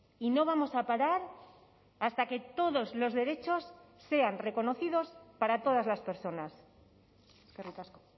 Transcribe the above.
y no vamos a parar hasta que todos los derechos sean reconocidos para todas las personas eskerrik asko